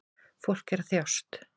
Fólk er að þjást